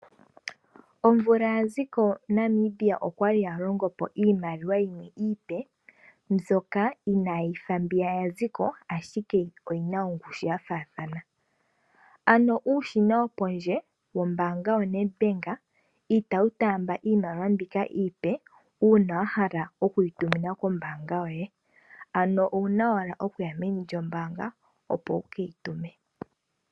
Omvula yaziko Namibia okwali yalongo po iimaliwa yimwe iipe mbyoka inaayifa mbiya yaziko ashike oyina ongushu yafaathana, ano uushina wopondje wombaanga yoNedBank itawu taamba iimaliwa mbika iipe uuna wahala okuyi tumina kombaanga yoye ano owuna owala okuya meni lyombaanga opo wukeyi tume.